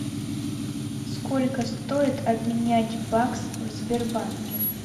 сколько стоит обменять бакс в сбербанке